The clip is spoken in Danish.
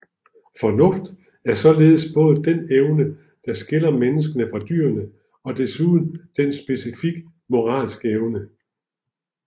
Fornuft er således både dén evne der skiller mennesket fra dyrene og desuden den specifikt moralske evne